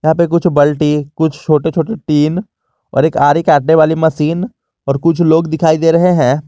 यहाँ पे कुछ बल्टी कुछ छोटे छोटे टीन और एक आरी काटने वाली मशीन और कुछ लोग दिखाई दे रहे हैं।